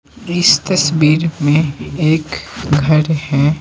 इस तस्वीर में एक घर है।